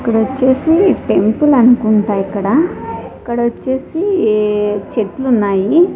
ఇక్కడొచ్చేసి temple అనుకుంట ఇక్కడ ఇక్కడొచ్చేసి చెట్లున్నాయి.